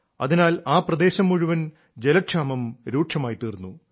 അതിനാൽ ആ പ്രദേശം മുഴുവൻ ജലക്ഷാമം രൂക്ഷമായിത്തീർന്നു